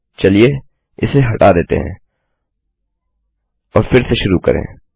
चलिए इसे हटा देते है और फिर से शुरू करें